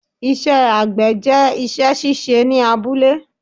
Ìṣẹ àgbẹ̀ jẹ́ isẹ́ síse ní abúlé